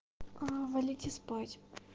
аа валите спать